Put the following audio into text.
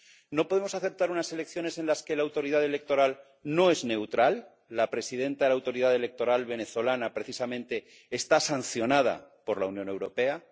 No podemos aceptar unas elecciones en las que la autoridad electoral no es neutral ‒la presidenta de la autoridad electoral venezolana precisamente está sancionada por la Unión Europea‒.